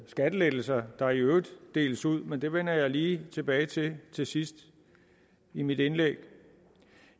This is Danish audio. skattelettelser der i øvrigt deles ud men det vender jeg lige tilbage til til sidst i mit indlæg